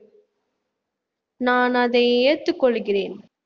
நான் அதை ஏற்றுக் கொள்கிறேன்